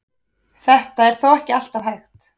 Þetta er þó ekki alltaf hægt.